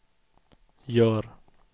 gör